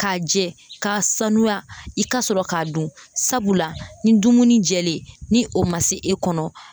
K'a jɛ k'a sanuya, i ka sɔrɔ k'a dun, sabula ni dumuni jɛlen ni o ma se e kɔnɔ.